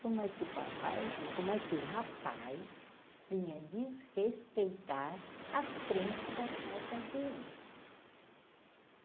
Como é que o papai... Como é que o rapaz vinha desrespeitar a frente da casa dele?